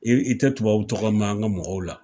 I tɛ tubabu tɔgɔ mɛn an ka mɔgɔw la.